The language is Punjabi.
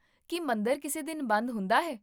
ਕੀ ਮੰਦਰ ਕਿਸੇ ਦਿਨ ਬੰਦ ਹੁੰਦਾ ਹੈ?